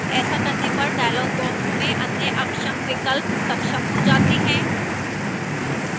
ऐसा करने पर dialog box में अन्य अक्षम विकल्प सक्षम हो जाते हैं